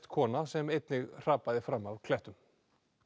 kona sem einnig hrapaði fram af klettum